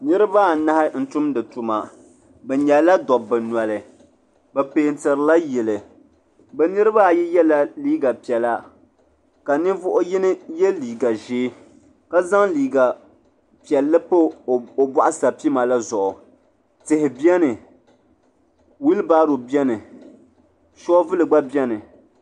Niriba anahi n-tumdi tuma bɛ nyɛla dabba noli bɛ peentirila yili bɛ niriba ayi yela liiga piɛla ka nin'vuɣuyini ye liiga ʒee ka zaŋ liiga piɛlli pa o bɔɣusapima la zuɣu tihi beni wilibaro beni shoovuli gba beni.